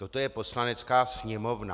Toto je Poslanecká sněmovna.